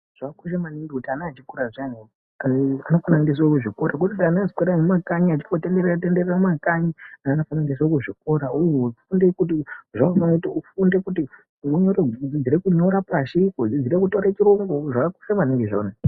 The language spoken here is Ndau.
Zvakakosha maningi kuti ane echikora zviyani anofana endeswa kuzvikora kwete kuti ana anoswera mumakanyi achingotenderera tenderere mumakanyi ana anofana endeswa kuzvikora uye ufunde kuti udzidzire kunyora pashi kudzidzire taura chirungu zvakakosha maningi izvozvo .